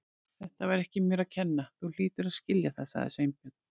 Þetta var ekki mér að kenna, þú hlýtur að skilja það- sagði Sveinbjörn.